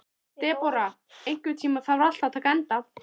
Debóra, einhvern tímann þarf allt að taka enda.